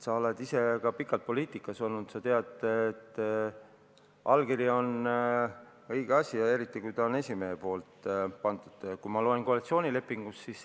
Sa oled ise pikalt poliitikas olnud, sa tead, et allkiri on õige asi, eriti, kui see on esimehe allkiri.